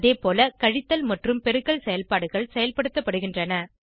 அதேபோல கழித்தல் மற்றும் பெருக்கல் செயல்பாடுகள் செயல்படுத்தப்படுகின்றன